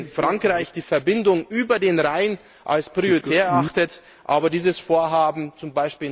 B., wenn Frankreich die Verbindung über den Rhein als prioritär erachtet, aber dieses Vorhaben